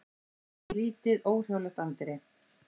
Inn í lítið, óhrjálegt anddyri.